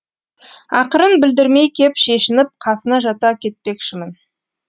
ақырын білдірмей кеп шешініп қасына жата кетпекшімін